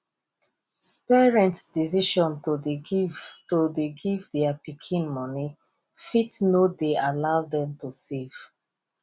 parents decision to dey give to dey give their pikin money fit no dey allow them to dey save